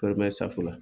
Foro safunɛ la